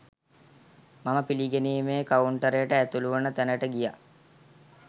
මම පිළිගැනීමේ කවුන්ටරයට ඇතුළුවන තැනට ගියා